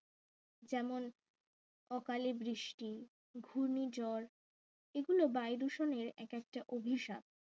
যেমন অকালে বৃষ্টি ঘূর্ণিঝড় বিভিন্ন বায়ু দূষণের এক একটা অভিশাপ